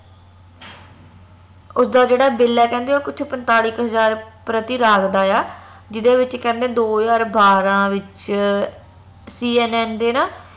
ਉਸਦਾ ਜਿਹੜਾ bill ਆ ਕਕਹਿੰਦੇ ਕੁਛ ਪੰਤਾਲੀ ਕ ਹਜਾਰ ਪ੍ਰਤੀ ਲੱਗਦਾ ਆ ਜਿਹਦੇ ਵਿਚ ਕਹੀਂਦੇ ਦੋ ਹਜਾਰ ਬਾਰਾਂ ਵਿਚ CNN ਦੇ ਨਾ